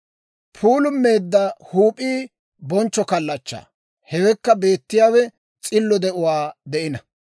Puulummeedda huup'ii bonchcho kallachchaa; hewekka beettiyaawe s'illo de'uwaa de'ina.